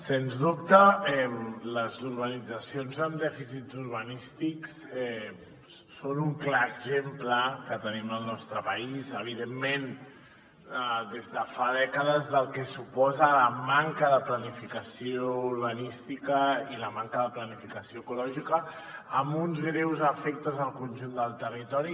sens dubte les urbanitzacions amb dèficits urbanístics són un clar exemple que tenim al nostre país evidentment des de fa dècades del que suposa la manca de planificació urbanística i la manca de planificació ecològica amb uns greus efectes al conjunt del territori